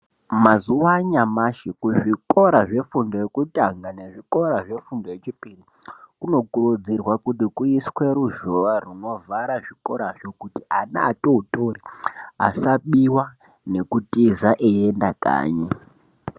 Mazuwa anyamashi kuzvikora zvefundo yekutanga nezvikora zvefundo yechipiri, kunokurudzirwa kuti kuiswe ruzhowa runovhara zvikorazvo, kuti ana atotori asabiwa ,nekutiza eienda kanyi.